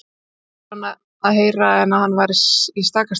Ekki var annað að heyra en að hann væri í stakasta lagi.